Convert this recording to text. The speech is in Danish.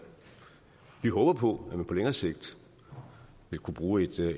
vi håber på at man på længere sigt vil kunne bruge et